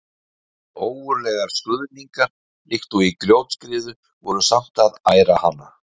En ógurlegar skruðningar líkt og í grjótskriðu voru samt að æra hana.